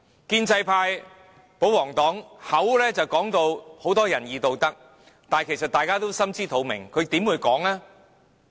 建制派、保皇黨滿口仁義道德，但大家也心知肚明，他們怎會說？